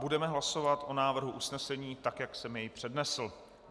Budeme hlasovat o návrhu usnesení, tak jak jsem jej přednesl.